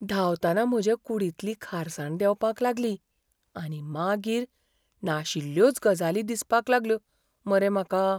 धांवतना म्हजे कुडींतली खारसाण देंवपाक लागली, आनी मागीर नाशिल्ल्योच गजाली दिसपाक लागल्यो मरे म्हाका.